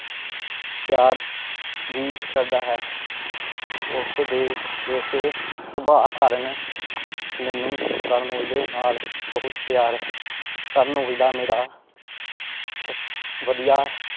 ਪਿਆਰ ਭੀ ਕਰਦਾ ਹੈ। ਉਸਦੇ ਇਸੇ ਸੁਬਾਹ ਕਾਰਣ ਮੈਨੂੰ ਕਰਨ ਔਜਲੇ ਨਾਲ ਬਹੁਤ ਪਿਆਰ ਹੈ। ਕਰਨ ਔਜਲਾ ਮੇਰਾ ਵਧੀਆ